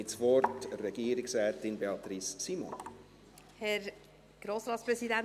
Ich gebe Regierungsrätin Beatrice Simon das Wort.